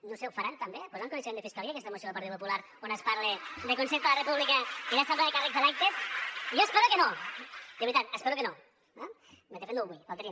no ho sé ho faran també posaran en coneixement de fiscalia aquesta moció del partit popular on es parla de consell per la república i d’assemblea de càrrecs electes jo espero que no de veritat espero que no eh de fet no ho vull només faltaria